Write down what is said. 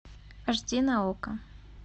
аш ди на окко